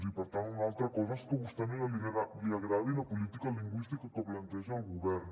i per tant una altra cosa és que a vostè no li agradi la política lingüística que planteja el govern